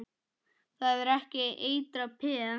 Það er ekki eitrað peð?